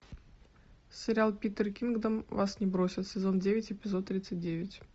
сериал питер кингдом вас не бросит сезон девять эпизод тридцать девять